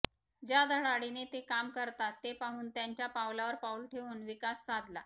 ज्या धडाडीने ते काम करतात ते पाहून त्यांच्या पावलावर पाऊल ठेवून विकास साधला